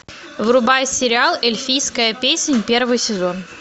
врубай сериал эльфийская песнь первый сезон